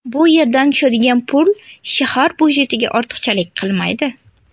Bu yerdan tushadigan pul shahar byudjetiga ortiqchalik qilmaydi.